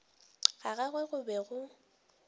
ga gagwe go be go